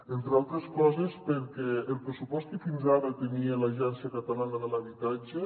entre altres coses perquè el pressupost que fins ara tenia l’agència catalana de l’habitatge